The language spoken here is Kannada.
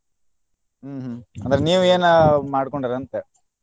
ಹ್ಮ್ ಹ್ಮ್ ಅಂದ್ರ ನೀವ್ ಏನ ಮಾಡ್ಕೊಂಡೇರ ಅಂತ?